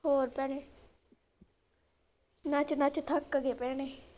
ਹੋਰ ਭੈਣੇ ਨੱਚ ਨੱਚ ਥੱਕ ਗਏ ਭੈਣੇ।